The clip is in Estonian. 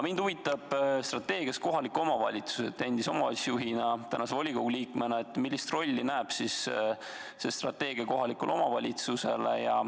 Mind kui endist kohaliku omavalitsuse juhti ja tänast volikogu liiget huvitab, millise rolli näeb see strateegia ette kohalikule omavalitsusele.